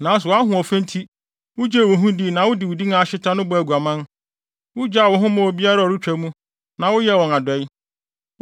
“ ‘Nanso wʼahoɔfɛ nti wugyee wo ho dii na wode wo din a ahyeta no bɔɔ aguaman. Wugyaa wo ho maa obiara a ɔretwa mu na woyɛɛ wɔn adɔe.